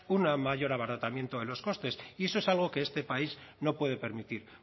un mayor abaratamiento de los costes y eso es algo que este país no puede permitir